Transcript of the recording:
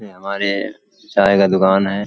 ये हमारे चाय की दुकान है।